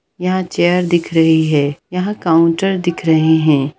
यहा चेयर दिख रहे हैं यहा काउन्टर दिख रहे हैं।